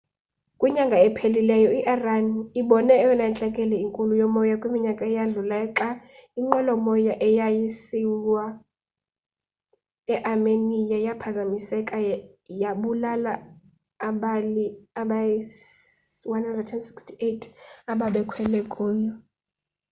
kwinyanga ephelileyo i-iran ibone eyona ntlekele inkulu yomoya kwiminyaka eyadlulayo xa inqwelo moya eyayisiya earmenia yaphazamiseka yabulala abali-168 ababekhwele kuyo